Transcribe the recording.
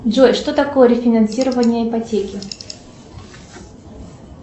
джой что такое рефинансирование ипотеки